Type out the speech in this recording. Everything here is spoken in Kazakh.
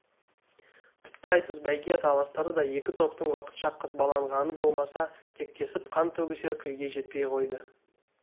тіпті айтыс бәйге таластары да екі топтың уақытша қызбаланғаны болмаса кектесіп қан төгісер күйге жетпей қойды